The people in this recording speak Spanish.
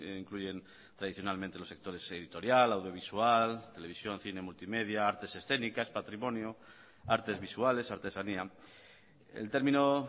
incluyen tradicionalmente los sectores editorial audiovisual televisión cine multimedia artes escénicas patrimonio artes visuales artesanía el término